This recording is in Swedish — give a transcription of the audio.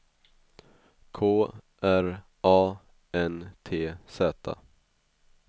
K R A N T Z